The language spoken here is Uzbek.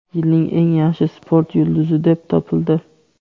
"Yilning eng yaxshi sport yulduzi" deb topildi.